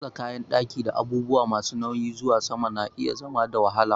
Motsa kayan ɗaki da abubuwa masu nauyi zuwa sama na iya zama da wahala.